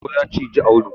Sauro ya ciji Audu.